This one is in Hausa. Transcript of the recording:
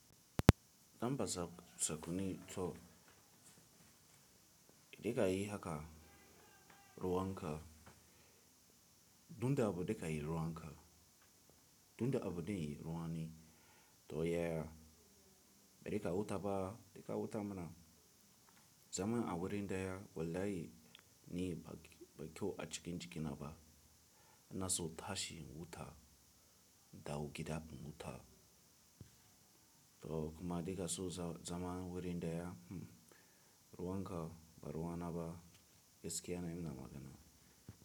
Zan baza sakuni to, da kai haka ruwan ka, duk da abu da ka yi ruwan ka. Duk da abu da yi ruwa ne. To yaya? Bari ka wuta ba, da ka wuta mana. Zaman a wurin da ya wallahi ni ba, ba kyau a cikin cikina ba. Ina so tashi in wuta, da wukita in wuta. To kuma da kaso zaman wurin da ya, hm, ruwan ka ba ruwa na ba, gaskiya na yi nama gana.